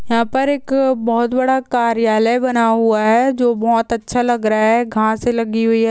यहा पर एक बहुत बड़ा कार्यालए बना हुआ है जो बहुत अच्छा लग रहा है घास लगी हुई है।